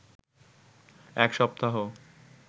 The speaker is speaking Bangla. এক সপ্তাহ